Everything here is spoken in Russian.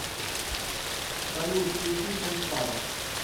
салют включи шаншара